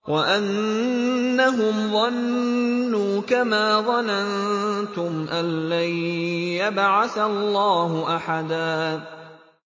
وَأَنَّهُمْ ظَنُّوا كَمَا ظَنَنتُمْ أَن لَّن يَبْعَثَ اللَّهُ أَحَدًا